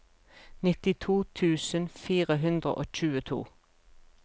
nittito tusen fire hundre og tjueto